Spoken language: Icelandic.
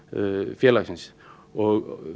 félagsins og